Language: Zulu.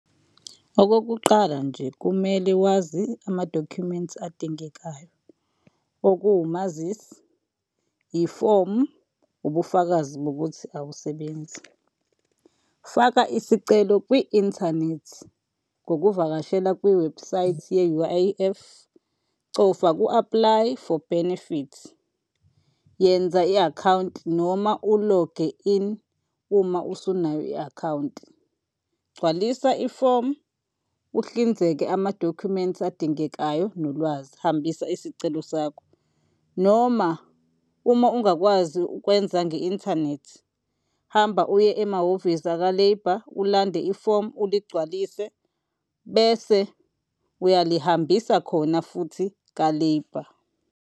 Okokuqala nje, kumele wazi amadokhumenti adingekayo. Okuwumazisi, ifomu, ubufakazi bokuthi awusebenzi. Faka isicelo kwi-inthanethi ngokuvakashela kwiwebhusayithi ye-U_I_F, cofa ku-Apply for benefits, yenza i-akhawunti, noma u-log-e in uma usunayo i-akhawunti. Gcwalisa ifomu uzihlinzeke amadokhumenti adingekayo nolwazi. Hambisa isicelo sakho noma uma ungakwazi ukwenza nge-inthanethi, hamba uye emahhovisi aka-Labour ulande ifomu uligcwalise bese uyilihambisa khona futhi ka-Labour.